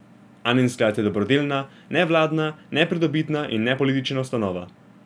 Anin sklad je dobrodelna, nevladna, nepridobitna in nepolitična ustanova.